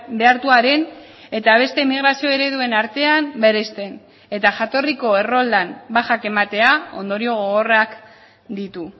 behartuaren eta beste emigrazio ereduen artean bereizten eta jatorriko erroldan bajak ematea ondorio gogorrak ditu